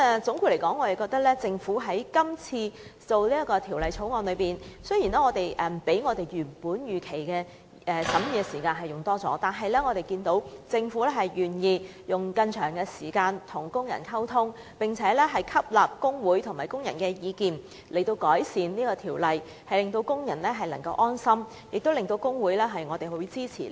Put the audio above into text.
總括而言，就政府今次擬備的《條例草案》，雖然審議所需時間較預期的長，但我們樂見政府願意多花時間與工人溝通，並且吸納工會和工人的意見以完善《條例草案》，既讓工人安心，亦令修正案獲得工會支持。